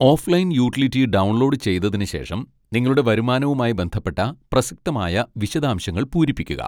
Offline utility download ചെയ്തതിനുശേഷം നിങ്ങളുടെ വരുമാനവുമായി ബന്ധപ്പെട്ട പ്രസക്തമായ വിശദാംശങ്ങൾ പൂരിപ്പിക്കുക.